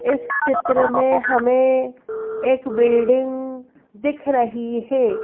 इस चित्र में हमें एक बिल्डिंग दिख रही है।